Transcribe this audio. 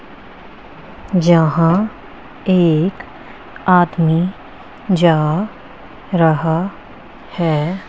यहाँ एक आदमी जा रहा है।